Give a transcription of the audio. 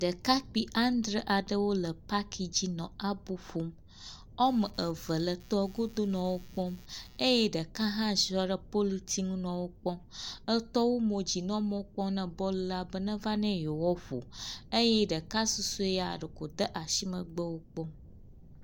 Ɖekakpui adre aɖewo le paki dzi nɔ abo ƒom. Woameve le tɔa godo nɔ wokpɔm eye ɖeka hã ziɔ ɖe politsinu nɔ wokpɔm. Etɔ wu mo yi dzi nɔ mɔ kpɔm ne bɔlua be neva ne yeawoaƒo eye ɖeka susɔe ɖe ko wòde asi megbe henɔ wokpɔm